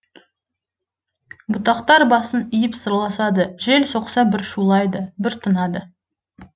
бұтақтар басын иіп сырласады жел соқса бір шулайды бір тынады